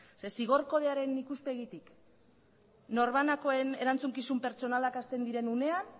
zeren zigor kodearen ikuspegitik norbanakoen erantzukizun pertsonalak hasten diren unean